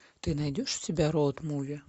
ты найдешь у себя роуд муви